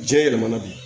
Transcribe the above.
Jiɲɛ yɛlɛmana de